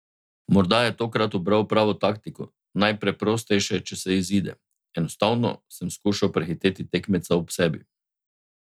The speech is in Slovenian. Morda je tokrat ubral pravo taktiko, najpreprostejše, če se izide: "Enostavno sem skušal prehiteti tekmeca ob sebi.